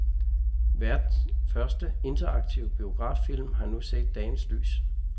Verdens første interaktive biograffilm har nu set dagens lys.